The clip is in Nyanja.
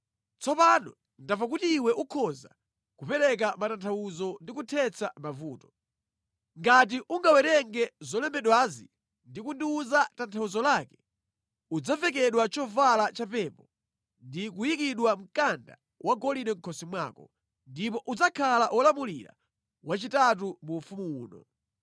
Tsopano ndamva kuti iwe ukhoza kupereka matanthauzo ndi kuthetsa mavuto. Ngati ungawerenge zolembedwazi ndi kundiwuza tanthauzo lake, udzavekedwa chovala cha pepo ndi kuyikidwa mkanda wa golide mʼkhosi mwako, ndipo udzakhala wolamulira wachitatu mu ufumu uno.”